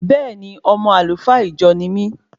Bẹẹni, ọmọ Alfa ìjọ ní mí